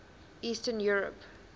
eastern europe